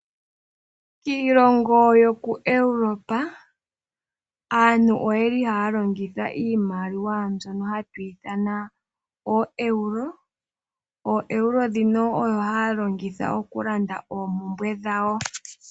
Kiilongo yokuEuropa aantu ohaya longitha iimaliwa mbyono hayi ithanwa ooEuro. OoEuro odho haya longitha okulanda oompumbwe dhawo.